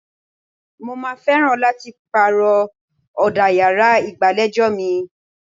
Mo máa fẹ́ràn láti pàrọ̀ ọ̀dà yàrá ìgbàlejò mi.